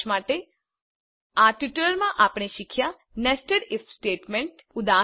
સારાંશ માટે આ ટ્યુટોરીયલમાં આપણે શીખ્યા નેસ્ટેડ ઇફ સ્ટેટમેન્ટ